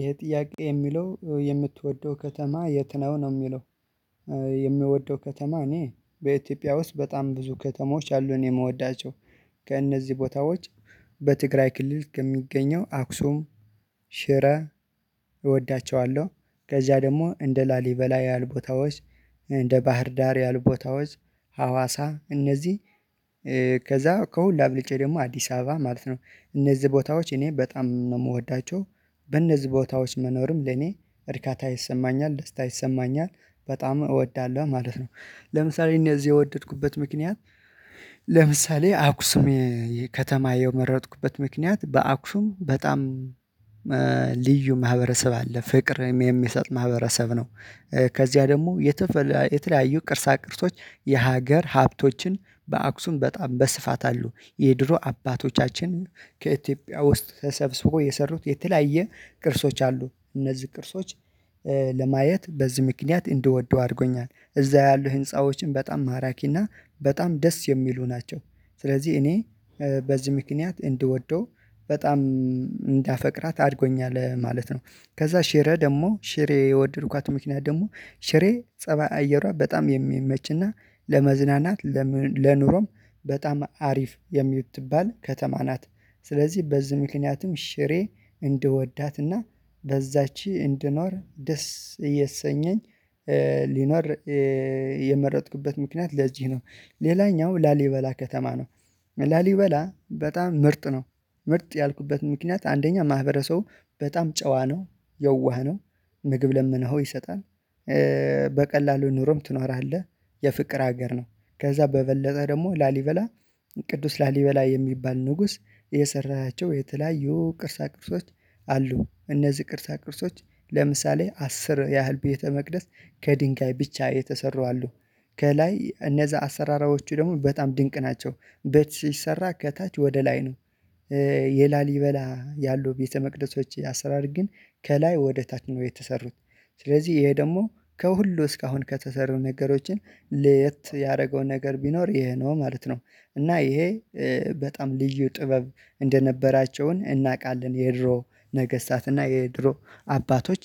ይሄ ጥያቄ የሚለው የምትወደው ከተማ የት ነው ነው ሚለው? የምወደው ከተማ እኔ በኢትዮጵያ ውስጥ በጣም ብዙ ከተሞች አሉ እኔ ምወዳቸው ከእነዚህ ቦታዎች በትግራይ ክልል ከሚገኘው አክሱም ሽረ እወዳቸዋለሁ። ከዛ ደግሞ እንደ ላሊበላ ያሉ ቦታዎች እንደ ባህር ዳር ያሉ ቦታዎች ሀዋሳ እነዚህ። ከዛ ከሁሉ አብልጬ ደግሞ አዲስ አበባ ማለት ነው እነዚህ ቦታዎች እኔ በጣም ነው የምወዳቸው። በእነዚህ ቦታዎች መኖርም ለኔ እርካታ ይሰማኛል ደስታ ይሰማኛል በጣም እወዳለሁ ማለት ነው። ለምሳሌ እነዚህ የወደድኩበት ምክንያት ለምሳሌ አክሱም ከተማ የመረጥኩበት ምክንያት በአክሱም በጣም ልዩ ማህበረሰብ አለ ፍቅርም የሚሰጥ ማህበረሰብ ነው። ከዚያ ደግሞ የተለያዩ ቅርሳ ቅርሶች የሀገር ሀብቶችን በአክሱም በጣም በስፋት አሉ የድሮ አባቶቻችን ከኢትዮጵያ ውስጥ ተሰብስቦ የሰሩት የተለያየ ቅርሶች አሉ እነዚህ ቅርሶች። ለማየት በዚህ ምክንያት እንድወደው አድርጎኛል እዛ ያሉ ህንፃዎችን በጣም ማራኪ ማራኪና በጣም ደስ የሚሉ ናቸው። ስለዚህ እኔ በዚህ ምክንያት እንድወደው በጣም እንዳፈቅራት አድጎኛል ማለት ነው። ከዛ ሽሬ ደግሞ ሽሬ የወደድኳት ምክንያት ደግሞ ሽሬ ፀባይ አየሯ በጣም የሚመችና ለመዝናናት ለኑሮም በጣም አሪፍ የሚትባል ከተማ ናት። ስለዚህ በዚህ ምክንያትም ሽሬ እንድወዳትና በዛች እንድኖር ደስ እያሰኘኝ ሊኖር የመረጥኩበት ምክንያት ለዚህ ነው። ሌላኛው ላሊበላ ከተማ ነው ላሊበላ በጣም ምርጥ ነው ምርጥ ያልኩበት ምክንያት አንደኛ ማህበረሰቡ በጣም ጨዋ ነው የዋህ ነው ምግብ ለምነው ይሰጣል። በቀላሉ ኑሮም ትኖራለህ የፍቅር ሀገር ነው። ከዛ በበለጠ ደግሞ ላሊበላ ቅዱስ ላሊበላ የሚባል ንጉስ የሰራቸው የተለያዩ ቅርሳ ቅርሶች አሉ እነዚህ ቅርሳ ቅርሶች ለምሳሌ አስር ያህል ቤተ መቅደስ ከድንጋይ ብቻ የተሰሩ አሉ። ከላይ እነዛ አሰራሮች ደግሞ በጣም ድንቅ ናቸው ቤት ስሰራ ከታች ወደ ላይ ነው። የላሊበላ ያሉ ቤተመቅደሶች አሰራር ግን ከላይ ወደ ታች ነው የተሰሩት ስለዚህ ይሄ ደግሞ ከሁሉ እስካሁን ከተሰሩ ነገሮችን ለየት ያደረገው ነገር ቢኖር ይሄ ነው ማለት ነው። እና እሄ በጣም ልዩ ጥበብ እንደነበራቸው እናቃለን የድሮ ነገስታት እና የድሮ አባቶች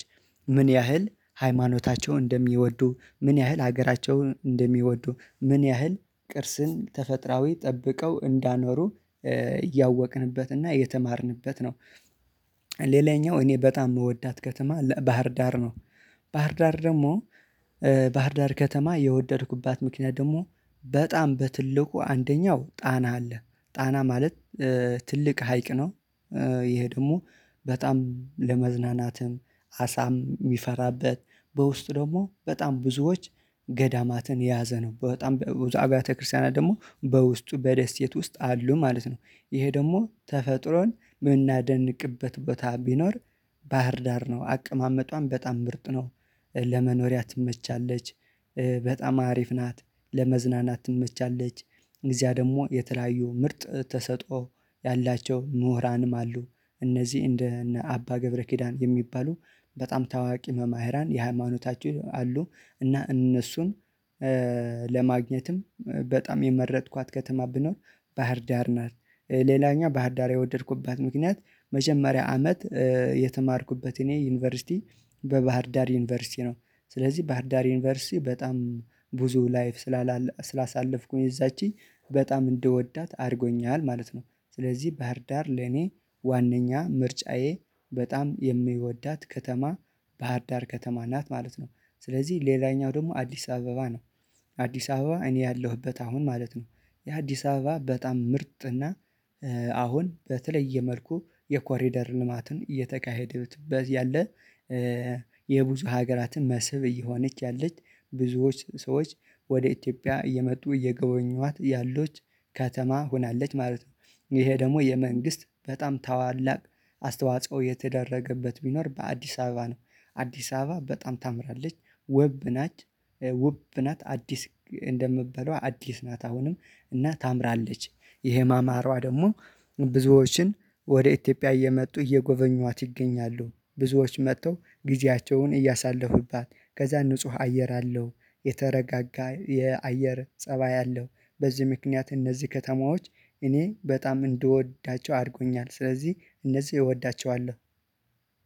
ምን ያህል ሃይማኖታቸውን እንደሚወዱ ምን ያህል ሀገራቸውን እንደሚወዱ ምን ያህል ቅርጽን ተፈጥራዊ ጠብቀው እንዳኖሩ እያወቅንበት እና የተማርንበት ነው። ሌላኛው እኔ በጣም የምወዳት ከተማ ባህር ዳር ነው። ባህር ዳር ደግሞ ባህር ዳር ከተማ የወደድኩባት ምክንያት ደግሞ በጣም በትልቁ አንደኛው ጣና አለ ጣና ማለት ትልቅ ሀይቅ ነው። ይሄ ደግሞ በጣም ለመዝናናትም አሳም የሚፈራበት በውስጥ ደግሞ በጣም ብዙዎች ገዳማትን የያዘ ነው በጣም አብያተ ክርስቲያናት ደግሞ በውስጡ በደሴት ውስጥ አሉ ማለት ነው። ይሄ ደግሞ ተፈጥሮን የምናደንቅበት ቦታ ቢኖር ባህር ዳር ነው አቀማመጧን በጣም ምርጥ ነው። ለመኖሪያ ትመቻለች በጣም አሪፍ ናት ለመዝናናት ትመቻለች እዚያ ደግሞ የተለያዩ ምርጥ ተሰጥኦ ያላቸው ምሁራንም አሉ። እነዚህ እንደ እነ አባ ገብረ ኪዳን የሚባሉ በጣም ታዋቂ መምህራን የሃይማኖታችን አሉ። እና እነሱን ለማግኘትም በጣም የመረጥኳት ከተማ ብኖር ባህርዳር ናት። ሌላኛው ባህርዳር የወደድኩባት ምክንያት መጀመሪያ አመት የተማርኩበት እኔ ዩኒቨርሲቲ በባህርዳር ዩኒቨርሲቲ ነው። ስለዚህ ባህርዳር ዩኒቨርሲቲ በጣም ብዙ ላይፍ ስላሳለፍኩኝ እዛች በጣም እንድወዳት አድርጎኛል ማለት ነው። ስለዚህ ባህርዳር ለኔ ዋናኛ ምርጫዬ በጣም የምወዳት ከተማ ባህር ዳር ከተማ ናት ማለት ነው። ስለዚህ ሌላኛው ደግሞ አዲስ አበባ ነው። አዲስ አበባ እኔ ያለሁበት አሁን ማለት ነው። የአዲስ አበባ በጣም ምርጥ እና አሁን በተለየ መልኩ የኮሪደር ልማትን እየተካሄደበት ያለ የብዙ ሀገራትን መስብ እየሆነች ያለች ብዙዎች ሰዎች ወደ ኢትዮጵያ እየመጡ እየጎበኙዋት ያሉዋት ከተማ ሆናለች ማለት ነው። ይሄ ደግሞ የመንግስት በጣም በታላላቅ አስተዋጽኦ የተደረገበት ቢኖር በአዲስ አበባ ነው። አዲስ አበባ በጣም ታምራለች ውብ ናት። ውብ ናት አዲስ እንደምባለው አዲስ ናት አሁንም እና ታምራለች። ይሄ ማማሯ ደግሞ ብዙዎችን ወደ ኢትዮጵያ እየመጡ እየጎበኟት ይገኛሉ ብዙዎች መጥተው ጊዜያቸውን እያሳለፉባት ከዛ ንጹህ አየር አለው። የተረጋጋ የአየር ፀባይ አለው። በዚህ ምክንያት እነዚህ ከተማዎች እኔ በጣም እንድወዳቸው አድርጎኛል ስለዚህ እነዚህ እወዳቸዋለሁ